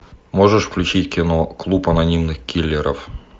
можешь включить кино клуб анонимных киллеров